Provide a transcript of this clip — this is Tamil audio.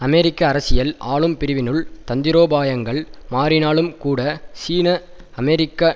அமெரிக்க அரசியல் ஆளும்பிரிவினுள் தந்திரோபாயங்கள் மாறினாலும்கூட சீன அமெரிக்க